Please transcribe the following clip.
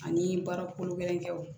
Ani baara kolo gɛlɛn kɛw